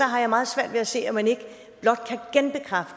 har jeg meget svært ved at se at man ikke blot